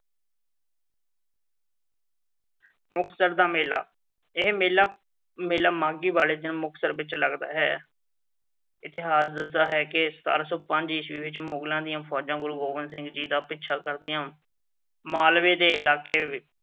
ਮੁਕਤਸਰ ਦਾ ਮੇਲਾ। ਇਹ ਮੇਲਾ ਮਾਘੀ ਵਾਲੇ ਦਿਨ ਮੁਕਸਤਰ ਵਿੱਚ ਲੱਗਦਾ ਹੈ। ਇਤਿਹਾਸ ਦੱਸਦਾ ਹੈ ਕਿ ਸਤਾਰਾਂ ਸੌ ਪੰਜ ਈਸਵੀ ਵਿੱਚ ਮੁਗਲਾਂ ਦੀ ਫ਼ੌਜਾਂ ਗੁਰੂ ਗੋਬਿੰਦ ਸਿੰਘ ਜੀ ਦਾ ਪਿੱਛਾ ਕਰਦੀਆਂ ਮਾਲਵੇ ਦੇ ਇਲਾਕੇ ਵਿੱਚ